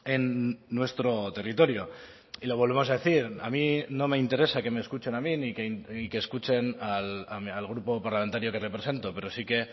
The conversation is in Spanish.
en nuestro territorio y lo volvemos a decir a mí no me interesa que me escuchen a mí y que escuchen al grupo parlamentario que represento pero sí que